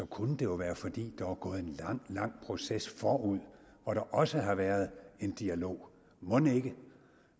kunne det jo være fordi der var gået en lang lang proces forud hvor der også har været en dialog mon ikke